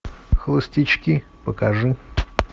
холостячки покажи